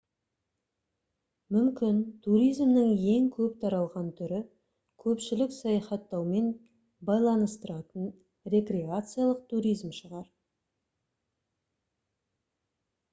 мүмкін туризмнің ең көп таралған түрі көпшілік саяхаттаумен байланыстыратын рекреациялық туризм шығар